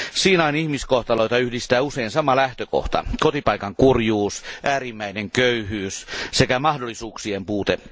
Siinain ihmiskohtaloita yhdistää usein sama lähtökohta kotipaikan kurjuus, äärimmäinen köyhyys sekä mahdollisuuksien puute.